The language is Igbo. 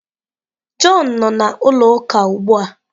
Jọn nọ na ụlọ uka ugbụa.